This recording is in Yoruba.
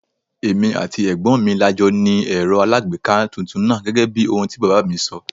Èmi àti ẹ̀gbọ́n mi la jọ ni Ẹ̀rọ alagbeeka tuntun náà gẹ́gẹ́bí ohun tí bàbá mi sọ.